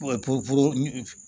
Poli